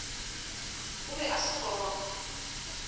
o be a se gona